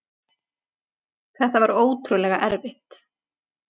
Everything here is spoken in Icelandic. Þetta var ótrúlega erfitt.